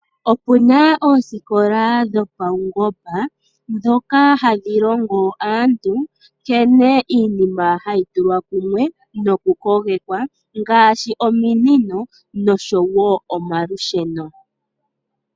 Okuna oosikola dhopaungomba ndhoka hadhi longo aantu nkene iinima hayi tulwa kumwe noku kogekwa ngaashi ominino noshowo omalusheno.